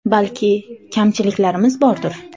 Balki, kamchiliklarimiz bordir.